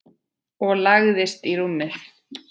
Og lagðist í rúmið.